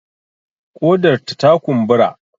Ƙodarta ta kumbura